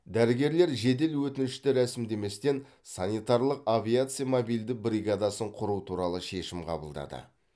дәрігерлер жедел өтінішті рәсімдеместен санитарлық авиация мобильді бригадасын құру туралы шешім қабылдады